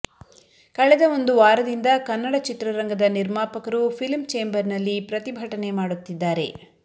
ಕಳೆದ ಒಂದು ವಾರದಿಂದ ಕನ್ನಡ ಚಿತ್ರರಂಗದ ನಿರ್ಮಾಪಕರು ಫಿಲ್ಮ್ ಚೇಂಬರ್ ನಲ್ಲಿ ಪ್ರತಿಭಟನೆ ಮಾಡುತ್ತಿದ್ದಾರೆ